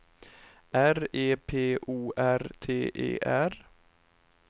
R E P O R T E R